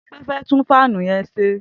Tope fẹ tùn fànú yèn ṣé